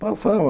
Passava.